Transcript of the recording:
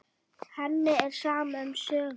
Henni er sama um sögur.